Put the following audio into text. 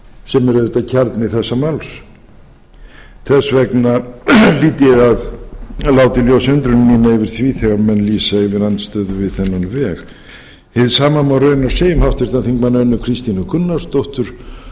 sem eru auðvitað kjarni þessa máls þess vegna hlýt ég að láta í ljósi undrun mína yfir því þegar menn lýsa yfir andstöðu við þennan veg hið sama má raunar segja um háttvirtan þingmann önnu kristínu gunnarsdóttur